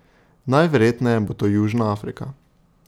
Najverjetneje bo to Južna Afrika.